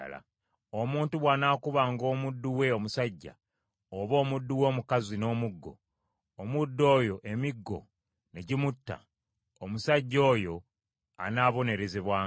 “Omuntu bw’anaakubanga omuddu we omusajja oba omuddu we omukazi n’omuggo, omuddu oyo emiggo ne gimutta, omusajja oyo anaabonerezebwanga;